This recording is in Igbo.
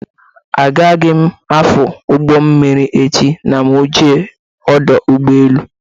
Agaghị m afụ ụgbọ mmiri echi ma mụ jee ọdọ ụgbọelu